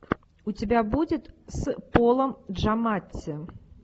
у тебя будет с полом джаматти